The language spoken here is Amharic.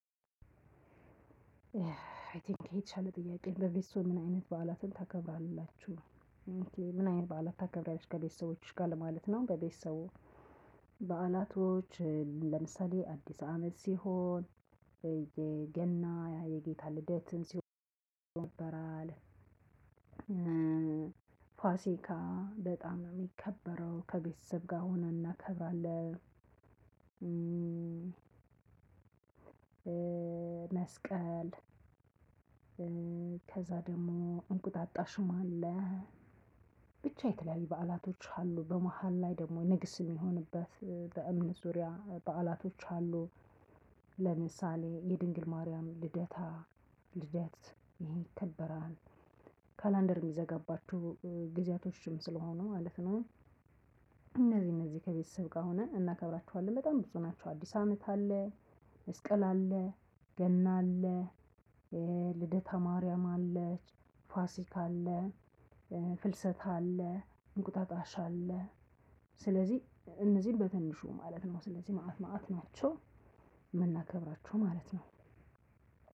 አይ ቲንክ ይሄ የተሻለ ጥያቄ ነው በቤተሰብዎ ምን አይነት ባህላትን ታከብራላችሁ? ኦኬ ምን አይነት ባህላትን ታከብሪያለሽ ከቤተሰቦችሽ ጋር ለማለት ነው? በቤተሰቦ በዓላቶች ለምሳሌ አዲስ አመት ሲሆን የገና የጌታ ልደትን ሲሆን ነበር። ፋሲካ በጣም የሚከበረው ከቤተሰብ ጋር ሆነን እናከብራለን። መስቀል። ከዛ ደግሞ እንቁጣጣሽም አለ። ብቻ የተለያዩ በዓላቶች አሉ በመሃል ላይ ደግሞ ንግስም የሚሆንበት በእምነት ዙሪያ በዓላቶች አሉ። ለምሳሌ የድንግል ማርያም ልደታ ልደት ይሄ ይከበራል። ካላንደር የሚዘጋባቸው ጊዜያቶችም ስለሆኑ ማለት ነው። እነዚህ እነዚህ ከቤት ስብስብ ጋር ሆነን እናከብራቸዋለን በጣም ብዙ ናቸው። አዲስ አመት አለ። መስቀል አለ። ገና አለ። ልደታ ማርያም አለች። ፋሲካ አለ። ፍልሰታ አለ። እንቁጣጣሽ አለ። ስለዚህ እነዚህን በትንሹ ማለት ነው ስለዚህ መአት መአት ናቸው። የምናከብራቸው ማለት ነው።